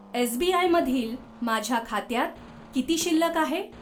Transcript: SBI मधील माझ्या खात्यात किती शिल्लक आहे?